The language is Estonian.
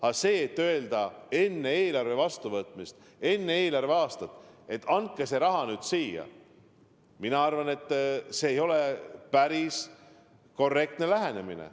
Aga öelda enne eelarve vastuvõtmist, enne uut eelarveaastat, et andke see raha nüüd siia – mina arvan, et see ei ole päris korrektne lähenemine.